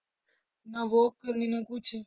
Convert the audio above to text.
ਨਾ walk ਕਰਨੀ ਨਾ ਕੁਛ।